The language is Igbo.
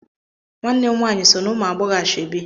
Nwanne m nwaanyị so n'ụmụagbọghọ ashọebi.